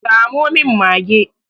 Samo min mage!